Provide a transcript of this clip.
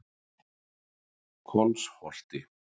Kolsholti